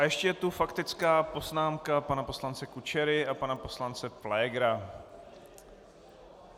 A ještě je tu faktická poznámka pana poslance Kučery a pana poslance Pflégera.